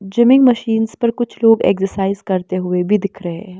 Gymming machines पर कुछ लोग एक्सरसाइज करते हुए भी दिख रहे हैं।